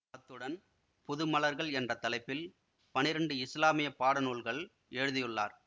அத்துடன் புது மலர்கள் என்ற தலைப்பில் பன்னிரெண்டு இஸ்லாமிய பாடநூல்களை எழுதியுள்ளார்